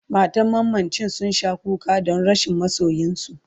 matan mamacin sun Sha kuka Dan rashin masoyinsu